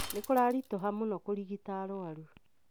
Ni kuraritũha mũno kũrigita arũaru.